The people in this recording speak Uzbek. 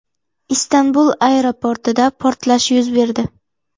Istanbul aeroportida portlash yuz berdi.